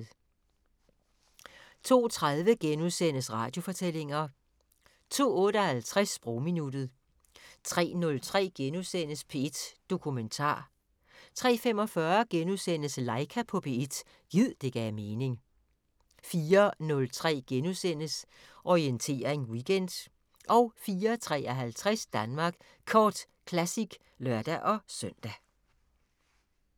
02:30: Radiofortællinger * 02:58: Sprogminuttet 03:03: P1 Dokumentar * 03:45: Laika på P1 – gid det gav mening * 04:03: Orientering Weekend * 04:53: Danmark Kort Classic (lør-søn)